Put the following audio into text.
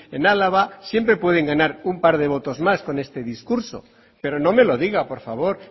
en álava siempre pueden ganar un par de votos más con este discurso pero no me lo diga por favor